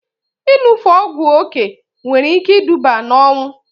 Ịṅụfe ọgwụ oké nwere ike iduba na ọnwụ